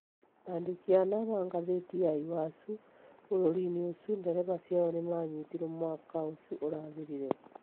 Aandĩki ana a ngathĩti ya Iwacu bũrũrĩinĩ ũcio ndereba ciao nĩ maanyitirũo mwaka ũcio ũrathirire